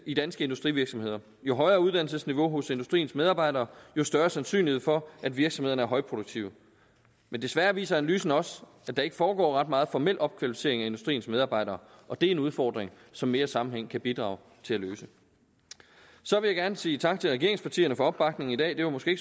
i danske industrivirksomheder jo højere uddannelsesniveau hos industriens medarbejdere jo større sandsynlighed for at virksomhederne er højproduktive men desværre viser analysen også at der ikke foregår ret meget formel opkvalificering af industriens medarbejdere og det er en udfordring som mere sammenhæng kan bidrage til at løse så vil jeg gerne sige tak til regeringspartierne for opbakningen i dag det var måske